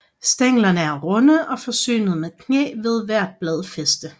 Stænglerne er runde og forsynet med knæ ved hvert bladfæste